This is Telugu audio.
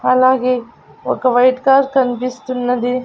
అలాగే ఒక వైట్ కార్ కనిపిస్తున్నది.